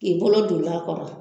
K'i bolo doni a kɔrɔ